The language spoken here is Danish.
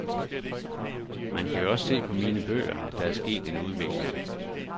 Man kan jo også se på mine bøger, at der er sket en udvikling.